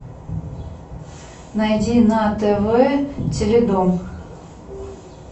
найди на тв теледом